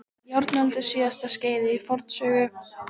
Járnöld er síðasta skeiðið í forsögu manna í Evrópu og Miðausturlöndum.